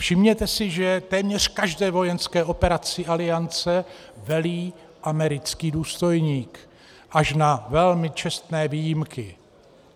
Všimněte si, že téměř každé vojenské operaci Aliance velí americký důstojník, až na velmi čestné výjimky.